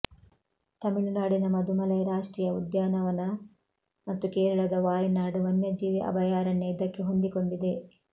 ತಮಿಳುನಾಡಿನ ಮದುಮಲೈ ರಾಷ್ಟ್ರೀಯ ಉದ್ಯಾನವನ ಮತ್ತು ಕೇರಳದ ವಾಯ್ನಾಡ್ ವನ್ಯಜೀವಿ ಅಭಯಾರಣ್ಯ ಇದಕ್ಕೆ ಹೊಂದಿಕೊಂಡಿದೆ